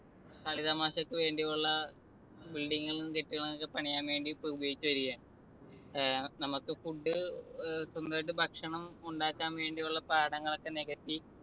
കളിതമാശക്കുവേണ്ടിയുള്ള building കളും കെട്ടിടങ്ങളും ഒക്കെ പണിയാൻ വേണ്ടി ഇപ്പൊ ഉപയോഗിച്ചുവരികയാണ്. ഏർ നമുക്ക് food ഏർ സ്വന്തായിട്ട് ഭക്ഷണം ഉണ്ടാക്കാൻ വേണ്ടിയുള്ള പാടങ്ങളൊക്കെ നികത്തി